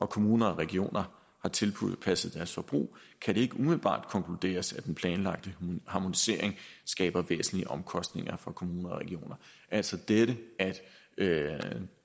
kommuner og regioner har tilpasset deres forbrug kan det ikke umiddelbart konkluderes at den planlagte harmonisering skaber væsentlige omkostninger for kommuner og regioner altså det at